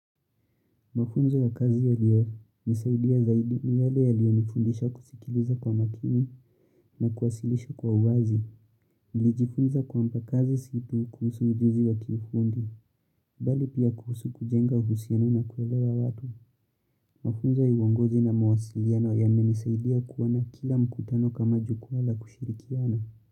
Mafunzo ya kazi ya liyo nisaidia zaidi ni yale ya liyo nifundisha kusikiliza kwa makini na kuwasilisha kwa uwazi. Nilijifunza kwamba kazi si tu kuhusu ujuzi wa kiufundi, bali pia kuhusu kujenga uhusiano na kuelewa watu. Mafunzo ya uongozi na mawasiliano ya menisaidia kuona kila mkutano kama jukumu la kushirikiana.